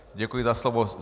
Děkuji za slovo.